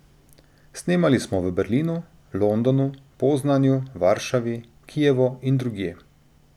Snemali smo v Berlinu, Londonu, Poznanju, Varšavi, Kijevu in drugje.